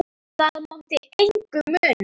Það mátti engu muna.